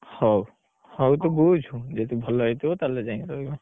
ହଉ, ହଉ ତୁ ବୁଝୁ ଯଦି ଭଲ ହେଇଥିବ, ତାହେଲେ ଯାଇଁକି ରହିବା।